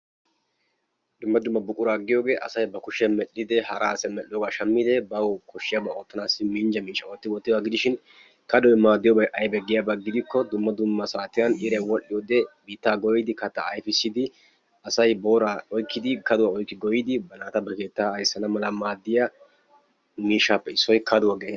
Dumma dumma buquraa giyogee asay ba kushiyan medhdhidee, hara asay medhdhoogaa shammidee bawu koshshiyabaa oottanaassi minjja miishshaa ootti wottiyoba gidishin kadoy maaddiyobay aybee giyaba hidikko dumma dumma saatiyan iray wodhdhiyode biittaa goyyidi, kattaa ayfissidi, asay booraa oykkidi, kaduwa oykki goyyidi ba keettaa ayssana mala maaddiya miishshaappe issoy kaduwa geetettees.